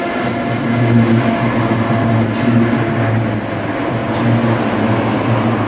इस तस्वीर में बहुत सारा मछली दिख रहा है मछली सब मड़ा दिख रहा है।